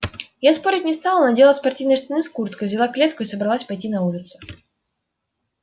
я спорить не стала надела спортивные штаны с курткой взяла клетку и собралась пойти на улицу